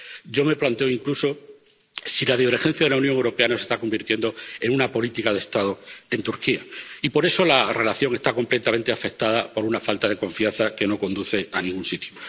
Yo me planteo incluso si la divergencia de la Unión Europea no se está convirtiendo en una política de Estado en Turquía y por eso la relación está completamente afectada por una falta de confianza que no conduce a ningún sitio.